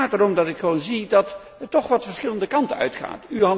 Het gaat erom dat ik gewoon zie dat het toch wat verschillende kanten uitgaat.